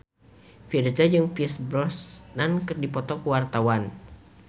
Virzha jeung Pierce Brosnan keur dipoto ku wartawan